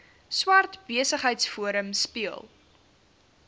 swart besigheidsforum speel